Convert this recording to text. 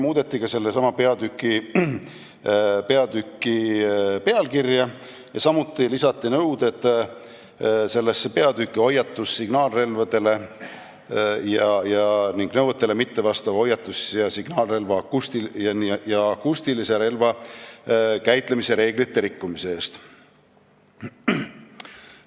Muudeti ka sellesama peatüki pealkirja, samuti lisati sellesse nõuded hoiatus- ja signaalrelvadele ning nõuetele mittevastava hoiatus-, signaal- ja akustilise relva käitlemise reeglite rikkumise eest.